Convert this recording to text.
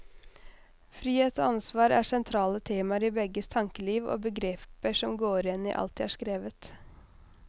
Frihet og ansvar er sentrale temaer i begges tankeliv og begreper som går igjen i alt de har skrevet.